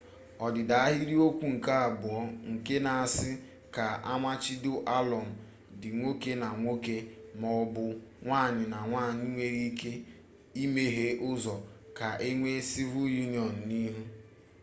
odida ahiriokwu nke abuo nke na-asi ka amachibido alum di nwoke na nwoke ma o bu nwanyi na nwanyi nwere ike imeghe uzo ka enwe civil union n'ihu